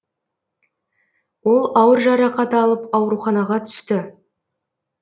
ол ауыр жарақат алып ауруханаға түсті